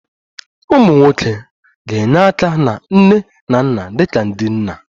Ụmụ nwoke ga-enye aka na nne na nna dị ka ndị nna